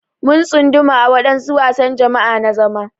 Mun tsunduma a wadansu wasan jama'a na zama.